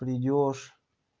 придёшь